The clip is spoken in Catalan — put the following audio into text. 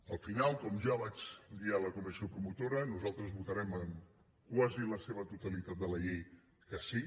al final com ja vaig dir a la comissió promotora nosaltres votarem en quasi la seva totalitat de la llei que sí